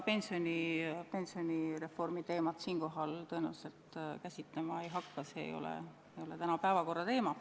Ma pensionireformi teemat siinkohal käsitlema ei hakka, see ei ole tänase päevakorra teema.